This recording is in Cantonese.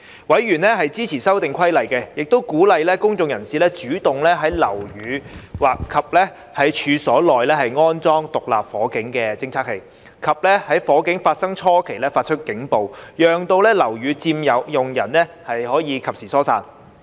委員支持修訂規例，亦鼓勵公眾人士主動在樓宇及處所內安裝獨立火警偵測器，以及在火警發生初期發出警報，讓樓宇佔用人及時疏散。